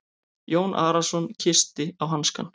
Jón Arason kyssti á hanskann.